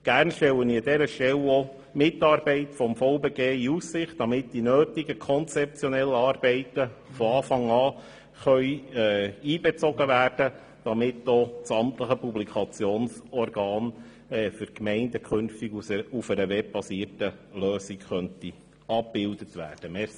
Gerne stelle ich an dieser Stelle auch die Mitarbeit des Verbands Bernischer Gemeinden (VBG) in Aussicht, damit die nötigen konzeptionellen Arbeiten von Anfang an einbezogen werden können, sodass auch die amtlichen Publikationsorgane der Gemeinden künftig mittels einer webbasierten Lösung abgebildet werden könnten.